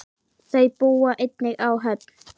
Þau búa einnig á Höfn.